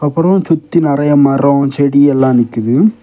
அப்புறம் சுத்தி நறைய மரம் செடி எல்லாம் நிக்குது.